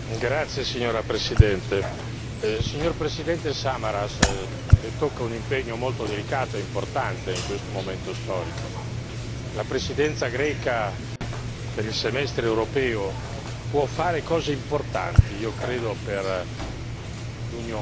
Signor Presidente, onorevoli colleghi, signor Presidente Samaras, le tocca un impegno molto delicato e importante in questo momento storico. La Presidenza greca per il semestre europeo può fare cose importanti, io credo, per l'Unione.